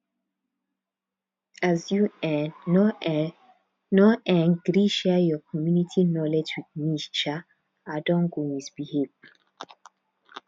as you um know um know um gree share your community knowledge with me um i don go misbehave